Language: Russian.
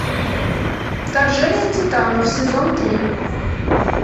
вторжение титанов сезон три